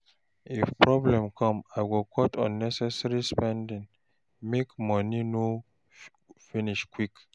If problem come, I go cut unnecessary expenses make money no finish quick.